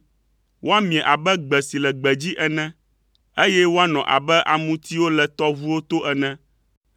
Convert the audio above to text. Woamie abe gbe si le gbedzi ene, eye woanɔ abe amutiwo le tɔʋuwo to ene.